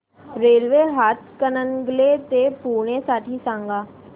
railway Hatkanangle ते पुणे साठी सांगा